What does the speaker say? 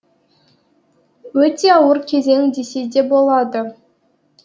өте ауыр кезең десе де болады